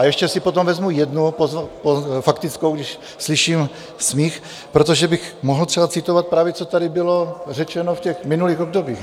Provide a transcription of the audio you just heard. A ještě si potom vezmu jednu faktickou, když slyším smích, protože bych mohl třeba citovat právě, co tady bylo řečeno v těch minulých obdobích.